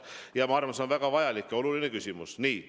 Ja ma arvan, et see on väga vajalik ja oluline küsimus.